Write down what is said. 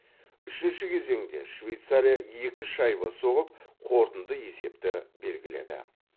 үшінші кезеңде швейцария екі шайба соғып қорытынды есепті белгіледі